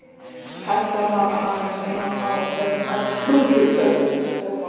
Hestar hafa aðeins eina tá á hverjum fæti og við köllum þær hófa.